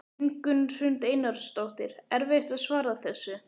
Ingunn Hrund Einarsdóttir: Erfitt að svara þessu?